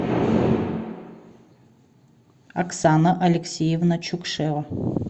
оксана алексеевна чукшева